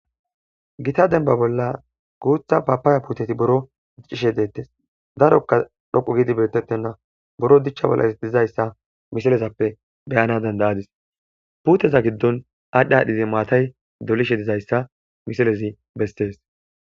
Gita demba bolla guutha papaaya puuteti boro diccishe deettes darokka dhoqu gidi beetettenna boro dichcha bollas dizayssa misilezappe beyana dandayadis puteza giddon aadhi aadhdhizi maatay dolishe dizayssa misilezi bestees.